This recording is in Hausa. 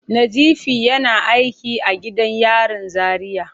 Nazifi yana aiki a gidan yarin Zaria.